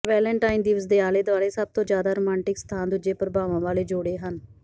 Valentine ਦਿਵਸ ਦੇ ਆਲੇ ਦੁਆਲੇ ਸਭ ਤੋਂ ਜ਼ਿਆਦਾ ਰੋਮਾਂਟਿਕ ਸਥਾਨ ਦੂਜੇ ਪ੍ਰਭਾਵਾਂ ਵਾਲੇ ਜੋੜੇ ਹਨ